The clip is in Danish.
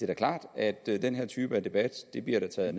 da klart at den her type debat bliver taget